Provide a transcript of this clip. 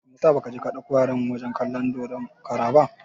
Meyasa ba ka je ka dauko yaran wajen kalan dodon kara ba?